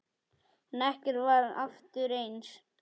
En ekkert varð aftur eins.